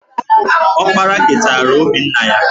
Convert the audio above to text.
Ọkpara keteara obi nna ya